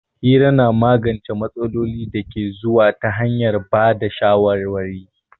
Hira na magance matsalolin da ke zuwa ta hanyar ba da shawarwari.